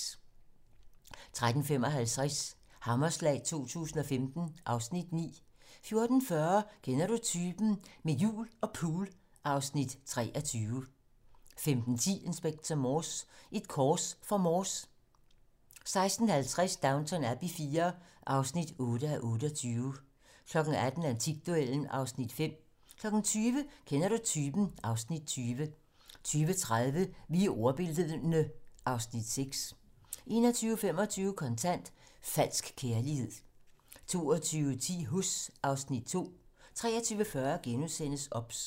13:55: Hammerslag 2015 (Afs. 9) 14:40: Kender du typen? - Med jul og pool (Afs. 23) 15:10: Inspector Morse: Et kors for Morse 16:50: Downton Abbey IV (8:28) 18:00: Antikduellen (Afs. 5) 20:00: Kender du typen? (Afs. 20) 20:30: Vi er ordbildne (Afs. 6) 21:25: Kontant: Falsk kærlighed 22:10: Huss (Afs. 2) 23:40: OBS *